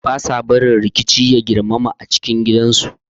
They do not allow violence to escalate in the home